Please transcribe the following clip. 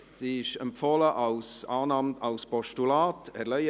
Sie wird zur Annahme als Postulat empfohlen.